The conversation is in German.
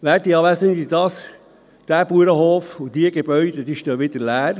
Werte Anwesende, dieser Bauernhof und diese Gebäude stehen wieder leer.